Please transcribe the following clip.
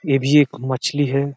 ये भी एक मछली है।